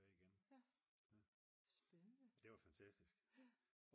tilbage igen det var fantastisk